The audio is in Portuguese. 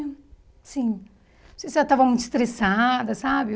Assim, não sei se ela estava muito estressada, sabe?